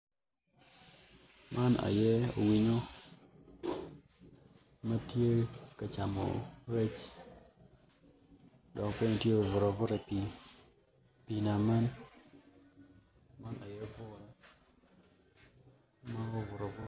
Man ye winyo ma tye ka camo rec dok bene tye obuto abuta i pii nama dok tye ka camo rec.